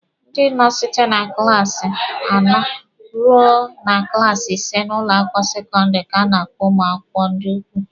Ndị nọ site na klaasi anọ rue na klaasi ise n'ụlọ akwụkwọ sekọndịrị ka na-akpọ ụmụ akwụkwọ ndị ukwu.